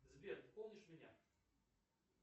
сбер помнишь меня